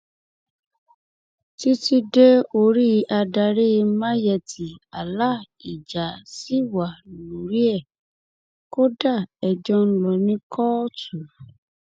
títí dé orí adarí mayetti allah ìjà ṣì wà lórí ẹ kódà ẹjọ ń lọ ní kóòtù